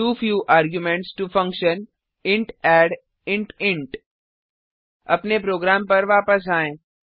to few arguments to function int add int int अपने program पर वापस आएँ